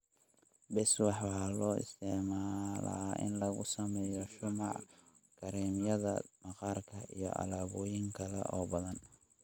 Beeswax waxaa loo isticmaalaa in lagu sameeyo shumac, kiriimyada maqaarka, iyo alaabooyin kale oo badan